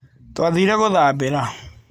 Twathire gũthambĩra.